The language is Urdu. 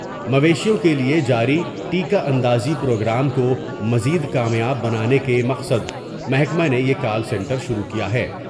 مویشیوں کے لیے جاری ٹیکہ اندازی پروگرام کومز ید کامیاب بنانے کے مقصد محکمہ نے یہ کال سنٹر شروع کیا ہے ۔